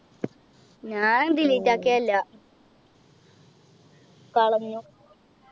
ഞാൻ delete ആക്കിയതല്ല കളഞ്ഞു